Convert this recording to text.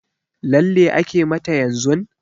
Lalle ake mata yanzun?